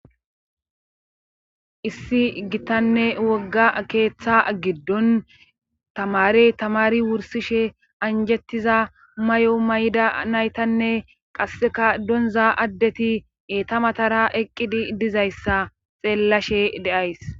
Issi gittanne wogga keeththa giddon tamare tamari wursishe anjettiza may.o may'da naytanne qasseka donza addeti eeta matara eqqidi dizayssa xeellashe deays.